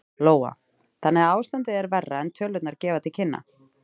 Lóa: Þannig að ástandið er verra en tölurnar gefa til kynna?